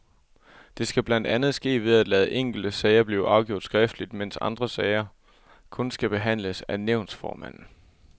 Det skal blandt andet ske ved at lade enkelte sager blive afgjort skriftligt, mens andre sager kun skal behandles af nævnsformanden.